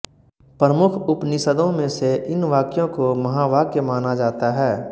प्रमुख उपनिषदों में से इन वाक्यो को महावाक्य माना जाता है